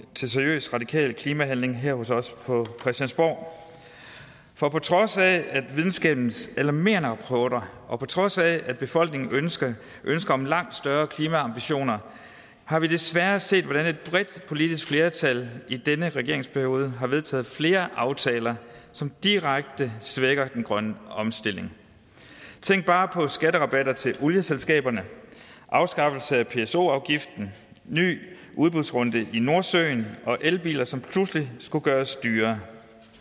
til seriøs radikal klimahandling her hos os på christiansborg for på trods af videnskabens alarmerende reporter og på trods af befolkningens ønsker om langt større klimaambitioner har vi desværre set hvordan et bredt politisk flertal i denne regeringsperiode har vedtaget flere aftaler som direkte svækker den grønne omstilling tænk bare på skatterabatter til olieselskaberne afskaffelse af pso afgiften ny udbudsrunde i nordsøen og elbiler som pludselig skulle gøres dyrere